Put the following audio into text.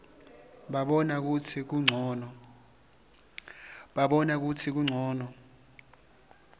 babona kutsi kuncono